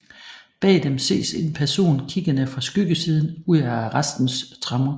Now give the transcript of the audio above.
Bag dem ses en person kiggende fra skyggesiden ud af arrestens tremmer